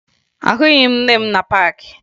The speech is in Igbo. Ahụghị m nne m na paakị